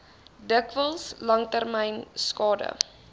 dikwels langtermyn skade